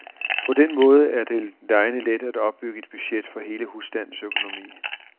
På den måde er det legende let at opbygge et budget for hele husstandens økonomi.